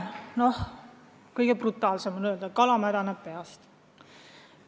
Noh, kõige brutaalsem on öelda, et kala hakkab mädanema peast.